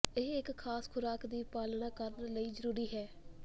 ਇਹ ਇੱਕ ਖਾਸ ਖੁਰਾਕ ਦੀ ਪਾਲਣਾ ਕਰਨ ਲਈ ਜ਼ਰੂਰੀ ਹੈ